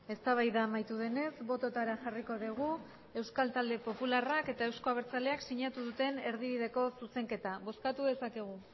eztabaida amaitu denez bototara jarriko dugu euskal talde popularrak eta euzko abertzaleak sinatu duten erdibideko zuzenketa bozkatu dezakegu